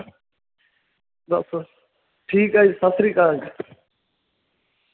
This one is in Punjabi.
ਬਸ ਠੀਕ ਆ ਜੀ, ਸਤਿ ਸ੍ਰੀ ਅਕਾਲ।